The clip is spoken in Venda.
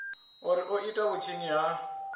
uri o ita vhutshinyi ha